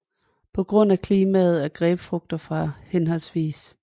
På grund af klimaet er grapefrugter fra hhv